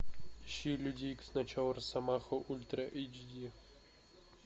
ищи люди икс начало росомаха ультра эйч ди